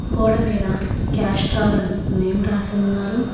గోడ మీద క్యాస్ట్రాల్ అని నేమ్ రాసి ఉన్నారు.